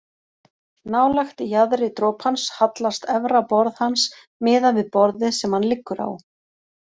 Nálægt jaðri dropans hallast efra borð hans miðað við borðið sem hann liggur á.